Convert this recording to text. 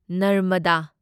Narmada